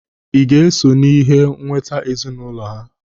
Ị ga-eso n'ihe nweta ezinụlọ ha?